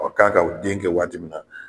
k'a ka den kɛ waati min na